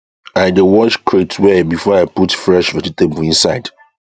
i dey wash crate well before i dey put fresh vegetable inside